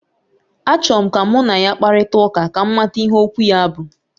Achọrọ m ka mụ na ya kparịta ụka, ka m mata ihe okwu ya bụ